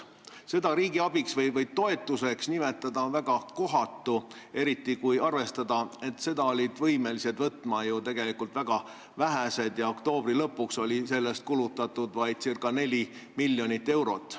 Seda riigiabiks või toetuseks nimetada on väga kohatu, eriti kui arvestada, et seda laenu olid võimelised võtma tegelikult väga vähesed ja oktoobri lõpuks oli sellest kulutatud vaid ca 4 miljonit eurot.